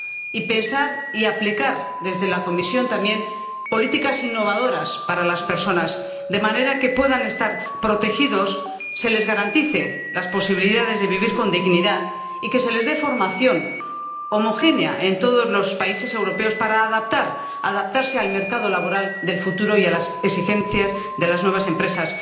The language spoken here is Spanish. y pensar y aplicar, desde la Comisión también, políticas innovadoras para las personas, de manera que puedan estar protegidas, se les garanticen las posibilidades de vivir con dignidad y se les dé formación homogénea en todos los países europeos para adaptarse al mercado laboral del futuro y a las exigencias de las nuevas empresas.